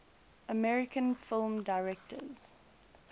american film directors